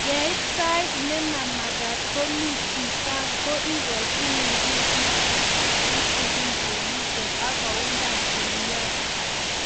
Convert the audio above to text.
yait sait ne mamekat ko mi chi sang' ko ikochini biik kiy kitegen polisiek akiunda eng' yoe